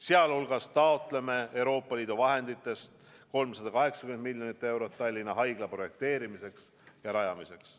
Sealhulgas taotleme Euroopa Liidu vahenditest 380 miljonit eurot Tallinna Haigla projekteerimiseks ja rajamiseks.